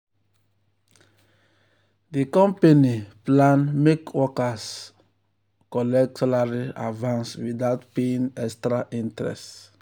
di company plan make workers plan make workers collect salary advance without paying extra interest.